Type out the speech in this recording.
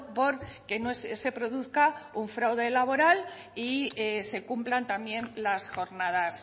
porque no se produzca un fraude laboral y se cumplan también las jornadas